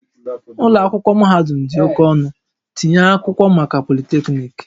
Ụlọ akwụkwọ mahadum dị oke ọnụ, tinye akwụkwọ maka Polytechnic